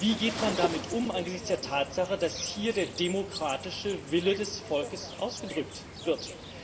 Wie geht man damit um angesichts der Tatsache, dass hier der demokratische Wille des Volkes ausgedrückt wird?